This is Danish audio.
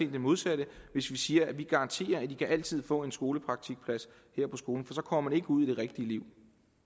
det modsatte hvis vi siger at vi garanterer at de altid kan få en skolepraktikplads her på skolen for så kommer de ikke ud i det rigtige liv